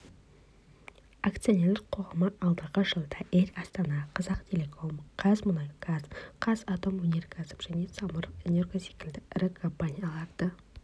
акционерлік қоғамы алдағы жылда эйр астана қазақтелеком қазмұнайгаз қазатомөнеркәсіп және самұрық энерго секілді ірі компанияларды